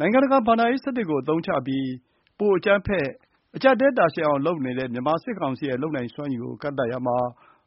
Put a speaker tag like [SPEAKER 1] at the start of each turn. [SPEAKER 1] နိုင်ငံတကာဘဏ္ဍာရေး စနစ်ကို အသုံးချပြီး ပိုမိုအကြမ်းဖက်၊ အကျပ်အတည်းတာရှည်အောင်လုပ်နေတဲ့ စစ်ကောင်စီရဲ့ လုပ်နိုင်စွမ်းရည်ကို ကန့်သတ်ရာမှာ